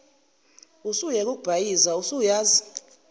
usuyeke ukubhayiza usuyazi